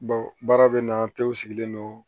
Bawo baara bɛ na kɛw sigilen don